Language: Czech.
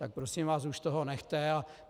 Tak prosím vás, už toho nechte.